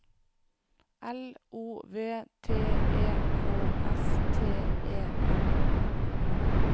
L O V T E K S T E N